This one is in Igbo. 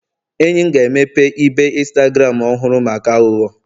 enyi m ga-emepe ibe Instagram ọhụrụ maka aghụghọ